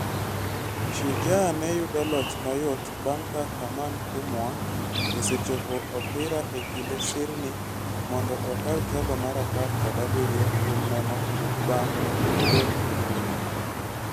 Shujaa neyudo loch mayot bang' ka Herman Humwa osechopo opira e kind sirni mondo okaw telo mar apar kod abiriyo kuom nono bang' gond Omondi.